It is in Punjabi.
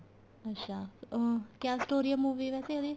ਅੱਛਾ ਅਹ ਕਿਆ story ਏ movie ਵੈਸੇ ਉਹਦੀ